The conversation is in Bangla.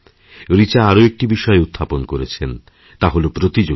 রিচা আরও একটি বিষয় উত্থাপন করেছেন তা হল প্রতিযোগিতা